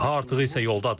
Daha artığı isə yoldadır.